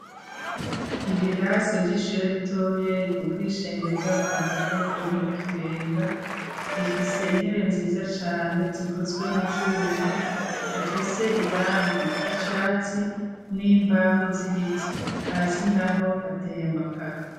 Ibirasa vy'ishujo ritoya rikukire ishengero ry'amapantekote riri mu kibenga rifise intebe nziza cane zikozwe mu vyuma bifise irangi ry'icatsi n'imbaho z'ibiti hasi na ho hateye amakaru.